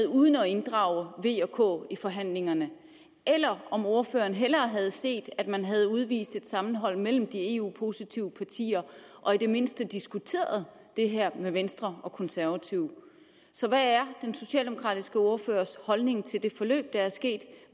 uden at inddrage v og k i forhandlingerne eller om ordføreren hellere havde set at man havde udvist et sammenhold mellem de eu positive partier og i det mindste havde diskuteret det her med venstre og konservative så hvad er den socialdemokratiske ordførers holdning til det forløb der